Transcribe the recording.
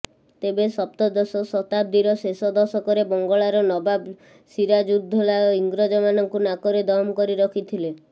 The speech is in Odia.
ତେବେ ସପ୍ତଦଶ ଶତାବ୍ଦୀର ଶେଷ ଦଶକରେ ବଙ୍ଗଳାର ନବାବ ସିରାଜୁଦ୍ଦୌଲା ଇଂରେଜ ମାନଙ୍କୁ ନାକରେ ଦମ କରି ରଖିଥିଲେ